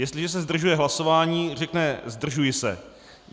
Jestliže se zdržuje hlasování, řekne "zdržuji se".